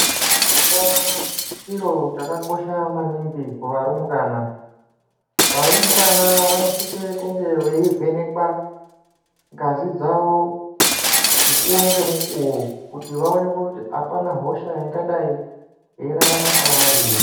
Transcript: Utano chiro chakakosha maningi kuvarumbwana. Varumbwana vanosise kunge veivhenekwa ngazi dzavo mukuwo ngemukuwo kuti vaonekwe kuti apana hosha ingadai yeirarama pavari here.